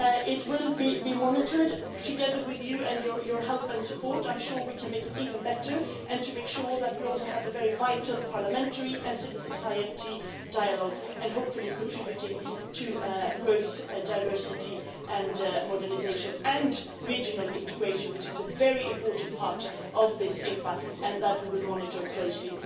It will be monitored together with you, and with your help and support I am sure we can make it even better and make sure that we also have a very vital parliamentary and civil society dialogue and hopefully contribute to growth, diversity and modernisation and regional integration, which is a very important part of this EPA and which we will monitor closely